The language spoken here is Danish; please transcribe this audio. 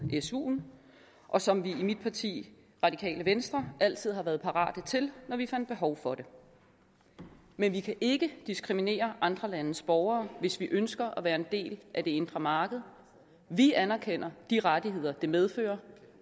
suen og som vi i mit parti radikale venstre altid har været parate til når vi fandt behov for det men vi kan ikke diskriminere andre landes borgere hvis vi ønsker at være en del af det indre marked vi anerkender de rettigheder det medfører